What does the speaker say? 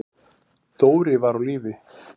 Dóri var á lífi.